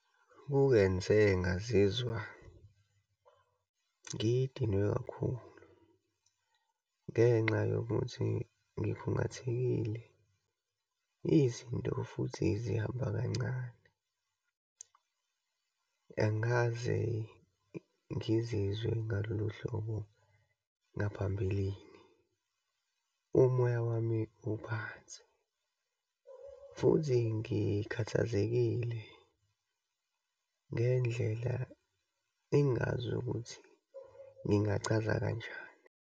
Kungenze ngazizwa ngidinwe kakhulu ngenxa yokuthi ngikhungathekile, izinto futhi zihamba kancane. Angikaze ngizizwe ngalolu hlobo ngaphambilini, umoya wami uphansi futhi ngikhathazekile ngendlela engazi ukuthi ngingachaza kanjani.